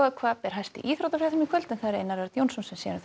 hvað ber hæst í íþróttafréttum í kvöld hjá Einar Erni Jónssyni